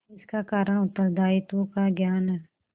इसका कारण उत्तरदायित्व का ज्ञान है